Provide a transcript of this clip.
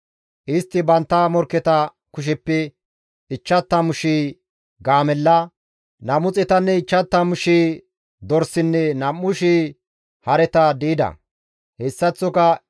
Istti bantta morkketa kusheppe 50,000 gaamella, 250,000 dorsinne 2,000 hareta di7ida; hessaththoka 100,000 as di7i ekkida.